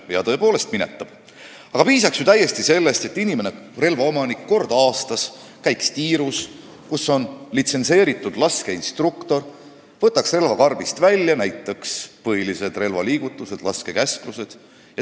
Jaa, tõepoolest minetab, aga piisaks täiesti sellest, kui relvaomanik kord aastas käiks tiirus, kus on litsentseeritud laskeinstruktor, võtaks relva karbist välja, näitaks ette põhilised relvaliigutused ja kuulaks laskekäsklusi.